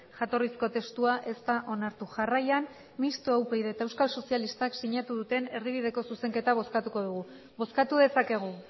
jatorrizko testua ez da onartu jarraian mistoa upyd eta euskal sozialistak sinatu duten erdibideko zuzenketa bozkatuko dugu bozkatu dezakegu